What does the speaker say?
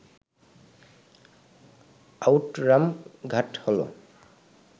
Outram Ghat হল